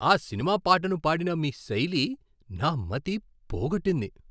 ఆ సినిమా పాటను పాడిన మీ శైలి నా మతి పోగొట్టింది.